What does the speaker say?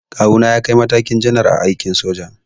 Kawuna ya kai matakin janar a aikin soja.